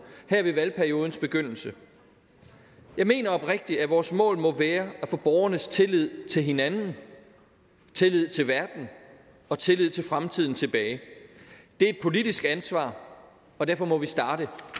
her ved valgperiodens begyndelse jeg mener oprigtigt at vores mål må være at få borgernes tillid til hinanden tillid til verden og tillid til fremtiden tilbage det er et politisk ansvar og derfor må vi starte